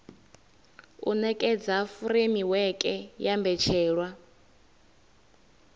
u nekedza furemiweke ya mbetshelwa